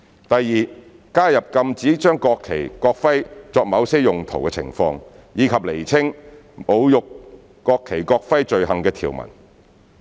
第二，加入禁止將國旗、國徽作某些用途的情況，以及釐清侮辱國旗或國徽罪行的條文。